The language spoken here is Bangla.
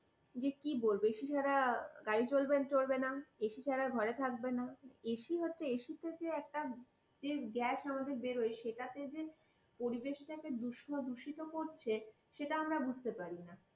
যে কি বলব? ac ছাড়া গাড়ি চড়বে না, ac ছাড়া ঘরে থাকবে না, ac হচ্ছে ac থেকে যে gas একটা আমাদের বেরোয় সেটাতে যে পরিবেশকে দূষিত করছে সেটা আমরা বুঝতে পারি না।